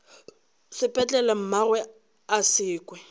sepetlele mmagwe a se kwe